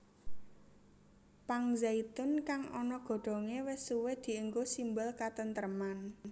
Pang zaitun kang ana godhongé wis suwé diénggo simbol katentreman